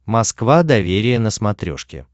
москва доверие на смотрешке